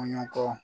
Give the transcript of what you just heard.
Kɔɲɔ kɔ